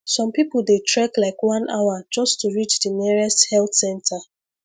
some people dey trek like one hour just to reach the nearest health center